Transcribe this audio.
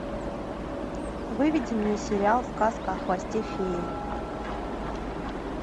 выведи мне сериал сказка о хвосте феи